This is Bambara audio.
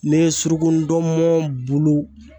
Ne ye suruku ndɔnmɔn bulu